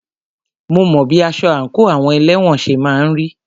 Mo mọ bí aṣọ àńkò àwọn elẹ́wọ̀n ṣe máà ń rí.